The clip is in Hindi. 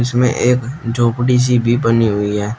इसमें एक झोपड़ी सी भी बनी हुई है।